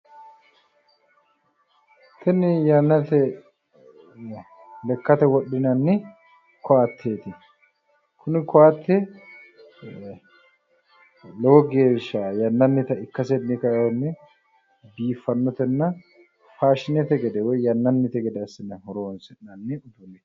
Kuni yannate lekkate wodhinanni koatteeti. Kuni koatte lowo geeshsha yannannita ikkasenni kaiwohunni biiffannotenna faashinete woyi yannannite gede assine horoonsi'nanni uduunnichooti.